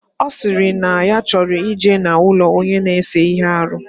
Osiri na ya choro ije na ulo Onye na-ese ihe ahu.